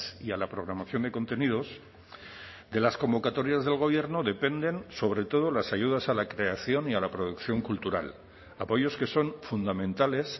y a la programación de contenidos de las convocatorias del gobierno dependen sobre todo las ayudas a la creación y a la producción cultural apoyos que son fundamentales